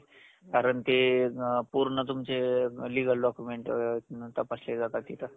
कारण ते पूर्ण तुमचे legal document तपासले जातात तिथं.